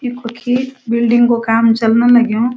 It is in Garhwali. इ कूखी बिल्डिंग कु काम चलन लग्युं।